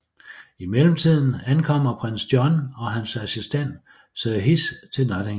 I mellemtiden ankommer Prins John og hans assistent Sir Hiss til Nottingham